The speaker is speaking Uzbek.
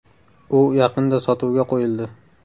U yaqinda sotuvga qo‘yildi.